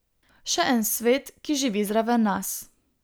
Še en svet, ki živi zraven nas.